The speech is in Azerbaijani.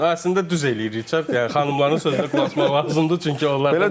Yəni əslində düz eləyirik, çünki xanımların sözünə qulaq asmaq lazımdır, çünki onlar